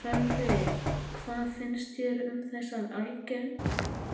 Sölvi, hvað finnst þér um þessar